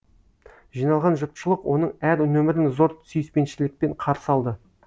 жиналған жұртшылық оның әр нөмірін зор сүйіспеншілікпен қарсы алды